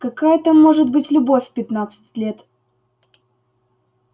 какая там может быть любовь в пятнадцать лет